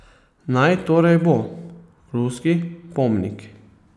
Naj torej bo, ruski pomnik.